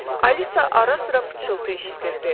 Alisa ara-sıra pıçıltı eşidirdi.